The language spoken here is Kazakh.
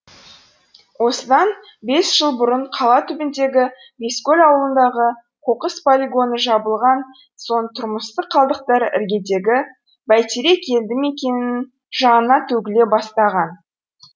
осыдан бес жыл бұрын қала түбіндегі бескөл ауылындағы қоқыс полигоны жабылған соң тұрмыстық қалдықтар іргедегі бәйтерек елді мекенінің жанына төгіле бастаған